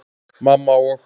Mamma og